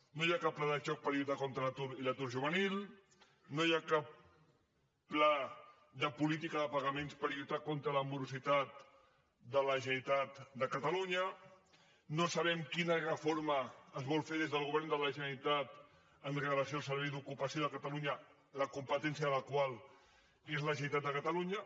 no hi ha cap pla de xoc per lluitar contra l’atur i l’atur juvenil no hi ha cap pla de política de pagaments per lluitar contra la morositat de la generalitat de catalunya no sabem quina reforma es vol fer des del govern de la generalitat amb relació al servei d’ocupació de catalunya la competència del qual és de la generalitat de catalunya